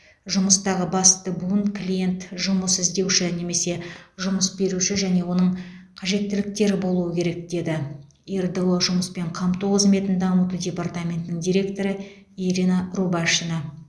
жұмыстағы басты буын клиент жұмыс іздеуші немесе жұмыс беруші және оның қажеттіліктері болуы керек деді ердо жұмыспен қамту қызметін дамыту департаментінің директоры ирина рубашина